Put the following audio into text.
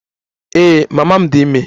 Ee, mama m dị ime